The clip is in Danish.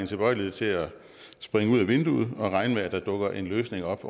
tilbøjelighed til at springe ud af vinduet og regne med at der dukker en løsning op